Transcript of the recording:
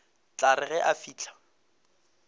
tla re ge a fihla